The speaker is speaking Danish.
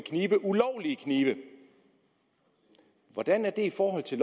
ulovlige knive hvordan er det i forhold til